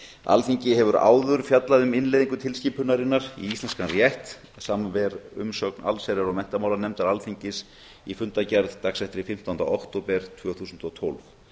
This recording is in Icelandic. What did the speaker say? alþingi hefur áður fjallað um innleiðingu tilskipunarinnar í íslenskan rétt samanber umsögn allsherjar og menntamálanefndar alþingis í fundargerð dagsett fimmtánda október tvö þúsund og tólf